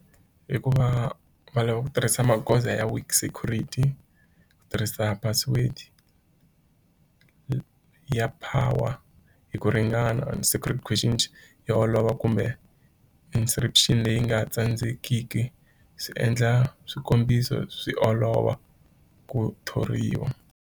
Hikuva va lava ku tirhisa magoza ya weak security, ku tirhisa password ya power hi ku ringana security yo olova kumbe instruction leyi nga tsandzeki swi endla swikombiso swi olova ku thoriwa.